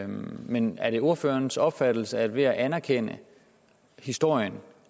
men er det ordførerens opfattelse at ved at anerkende historien